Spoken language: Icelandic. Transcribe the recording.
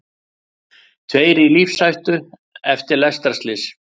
Tveir í lífshættu eftir lestarslys